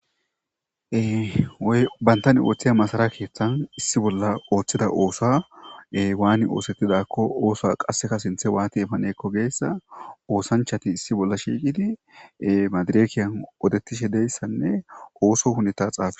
Eybantan ooththiya masara keeththan issi bolla ooththida oosae waani oosettidakko oosa qasseka sinthe waati paneekko geessa oosanchati issi bolla shiiqidi madirekiyan odettishe deyssanne ooso huneta xaafe.